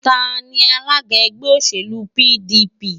Ta ni alága ẹgbẹ́ òṣèlú PDP?